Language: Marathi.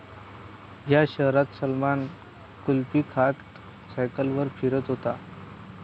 या' शहरात सलमान कुल्फी खात सायकलीवर फिरत होता!